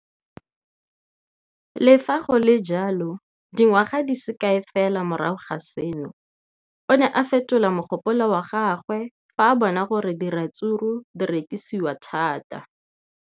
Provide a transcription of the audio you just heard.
Le fa go le jalo, dingwaga di se kae fela morago ga seno, o ne a fetola mogopolo wa gagwe fa a bona gore diratsuru di rekisiwa thata.